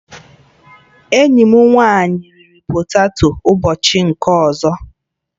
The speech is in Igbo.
Enyi m nwanyị riri poteto ụbọchị nke ọzọ